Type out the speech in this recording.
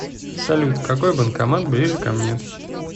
салют какой банкомат ближе ко мне